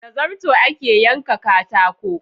Da zarto ake yanka katako.